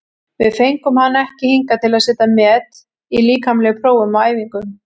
Við fengum hann ekki hingað til að setja met í líkamlegum prófum á æfingum.